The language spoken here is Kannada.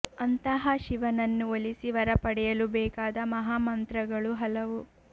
ಅಂತಹಾ ಶಿವನನ್ನು ಒಲಿಸಿ ವರ ಪಡೆಯಲು ಬೇಕಾದ ಮಹಾ ಮಂತ್ರಗಳು ಹಲವು